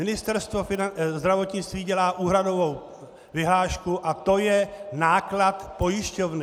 Ministerstvo zdravotnictví dělá úhradovou vyhlášku a to je náklad pojišťovny.